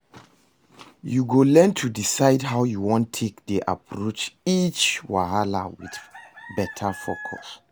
Yu go learn to decide how yu wan take dey approach each wahala wit beta focus